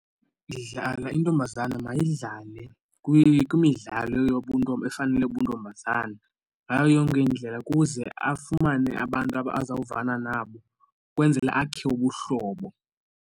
Dlala. Intombazana mayidlale kwimidlalo yobuntombi efanele ubuntombazana ngayo yonke indlela ukuze afumane abantu azawuvana nabo ukwenzele akhe ubuhlobo.